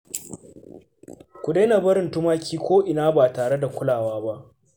Ku daina barin tumaki ko'ina ba tare da kulawa ba